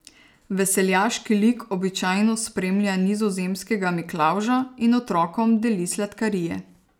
Veseljaški lik običajno spremlja nizozemskega Miklavža in otrokom deli sladkarije.